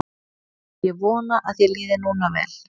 Ég vona að þér líði núna vel.